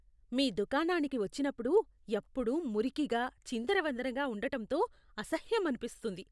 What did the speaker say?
మీ దుకాణానికి వచ్చినప్పుడు ఎప్పుడూ మురికిగా, చిందరవందరగా ఉండటంతో అసహ్యమనిపిస్తుంది.